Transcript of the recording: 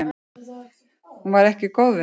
Hún var ekki góð við mig.